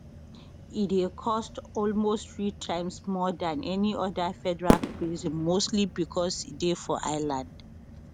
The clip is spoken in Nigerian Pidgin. e dey cost almost three times more dan any oda federal prison mostly becos e dey for island